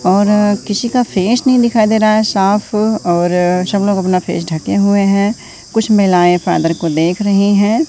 और किसी का फेस नहीं दिखाई दे रहा साफ और सब लोग अपना फेस ढके हुए हैं कुछ महिलाएं फादर को देख रही हैं।